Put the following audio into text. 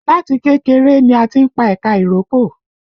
Láti kékeré ni a ti ń pa ẹ̀ka ìrókò